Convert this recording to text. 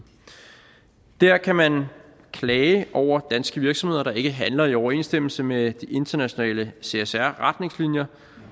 der kan man klage over danske virksomheder der ikke handler i overensstemmelse med de internationale csr retningslinjer